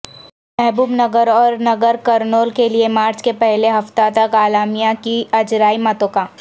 محبوب نگر اور ناگرکرنول کیلئے مارچ کے پہلے ہفتہ تک اعلامیہ کی اجرائی متوقع